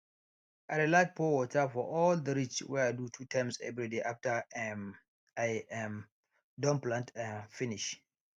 i dey like pour water for all the ridge wey i do two times everyday after um i um don plant um finish